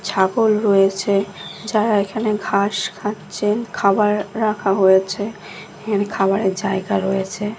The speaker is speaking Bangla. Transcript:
ছাগল রয়েছে যারা এখানে ঘাস খাচ্ছে খাবার রাখা হয়েছে এখানে খাবারের জায়গা রয়েছে।